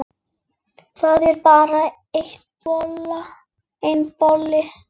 Það er bara einn bolli!